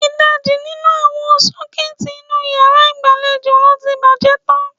Ìdajì nínú àwọn sọ́kẹ́ẹ́tì inú yàrá ìgbàlejò lo ti bàjẹ́ tán.